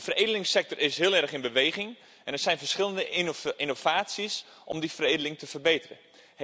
De veredelingssector is heel erg in beweging en er zijn verschillende innovaties om die veredeling te verbeteren.